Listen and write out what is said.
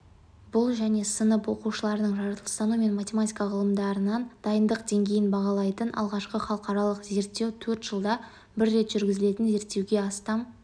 бұл және сынып оқушыларының жаратылыстану мен математика ғылымдарынан дайындық деңгейін бағалайтын алғашқы халықаралық зерттеу төрт жылда бір рет жүргізілетін зерттеуге астам